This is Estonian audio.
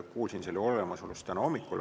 Kuulsin selle olemasolust täna hommikul.